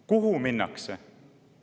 Kuhu minnakse?